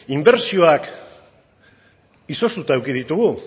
inbertsioak izoztuta eduki ditugu